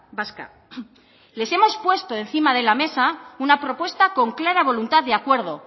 vasca les hemos puesto encima de la mesa una propuesta con clara voluntad de acuerdo